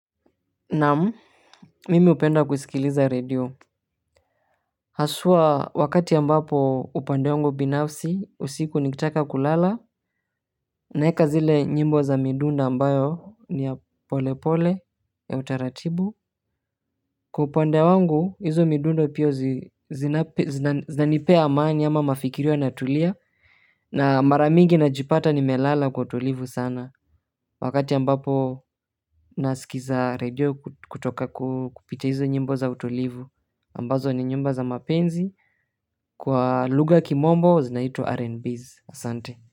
Naam. Mimi hupenda kusikiliza radio. Haswa wakati ambapo upande wangu binafsi, usiku nikitaka kulala, naeka zile nyimbo za midundo ambayo ni ya pole pole ya utaratibu. Kwa upande wangu hizo midundo pia zinanipea amani, ama mafikira inatulia na mara mingi najipata nimelala kwa utulivu sana. Wakati ambapo naskza radio kutoka kupitia hizo nyimbo za utulivu. Ambazo ni nyimbo za mapenzi, kwa lugha ya kimombo zinaitwa RNBs. Asante.